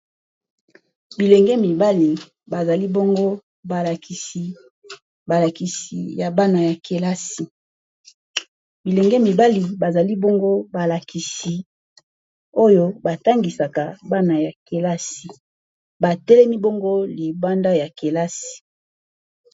bilenge mibali ng balakisi oyo batangisaka bana ya kelasi batelemi bongo libanda ya kelasi